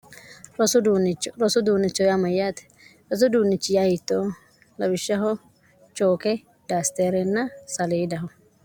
dhrosu duunnichoh amayyaate rosu duunnichi ya hittoo labishshaho chooke daasteerenna saliidaho